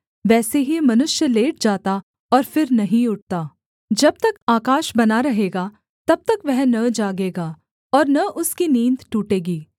वैसे ही मनुष्य लेट जाता और फिर नहीं उठता जब तक आकाश बना रहेगा तब तक वह न जागेगा और न उसकी नींद टूटेगी